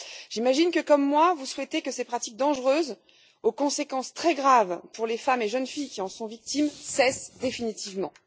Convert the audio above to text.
J'imagine que, comme moi, vous souhaitez que ces pratiques dangereuses aux conséquences très graves pour les femmes et jeunes filles qui en sont victimes cessent définitivement.